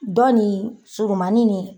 Dɔni surumani nin